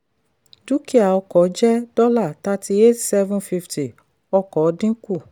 dúkìá ọkọ̀ jẹ́ dollar thirty-eight seven fifty ọkọ̀ dín kù.